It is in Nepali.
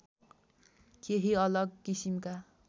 केही अलग किसिमका